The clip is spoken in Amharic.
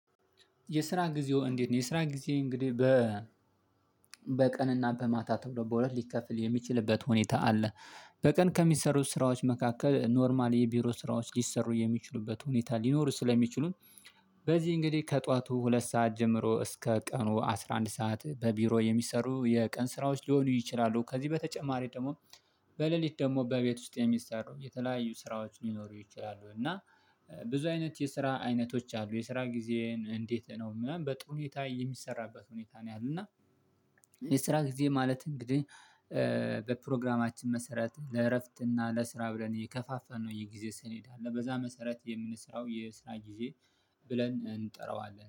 የስራ ጊዜው እንዴት ነው? የስራ ጊዜ እንግዲህ በ በቀንና በማታ ተብሎ በሁለት ሊከፍል የሚችልበት ሁኔታ አለ። በቀን ከሚሰሩ ስራዎች መካከል ኖርማል የቢሮ ስራዎች ሊሰሩ የሚችሉበት ሁኔታ ሊኖሩ ስለሚችሉን። በዚህ እንግዲህ ከጧቱ ሁለት ሰዓት ጀምሮ እስከ ቀኑ አስራ አንድ ሰዓት በቢሮ የሚሰሩ የቀን ስራዎች ሊሆኑ ይችላሉ። ከዚህ በተጨማሪ ደግሞ። በሌሊት ደግሞ በቤት ውስጥ የሚሰሩ የተለያዩ ስራዎች ሊኖሩ ይችላሉ እና ብዙ አይነት የስራ አይነቶች አሉ። የስራ ጊዜን እንዴት ነው ምን በጥሩ ሁኔታ የሚሰራበት ሁኔታ ነው ያለው እና? የስራ ጊዜ ማለት እንግዲህ በፕሮግራማችን መሰረት ለእረፍትና ለስራ ብለን የከፋልፈንነው የጊዜ ሰሌዳ አለ። በዛ መሰረት የምንሰራው የስራ ጊዜ ብለን እንጠራዋለን